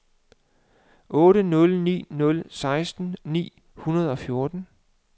otte nul ni nul seksten ni hundrede og fjorten